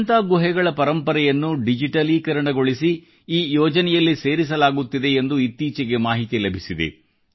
ಅಜಂತಾ ಗುಹೆಗಳ ಪರಂಪರೆಯನ್ನು ಡಿಜಿಟಲೀಕರಣಗೊಳಿಸಿ ಈ ಯೋಜನೆಯಲ್ಲಿ ಸೇರಿಸಲಾಗುತ್ತಿದೆ ಎಂದು ಇತ್ತೀಚೆಗೆ ಮಾಹಿತಿ ಲಭಿಸಿದೆ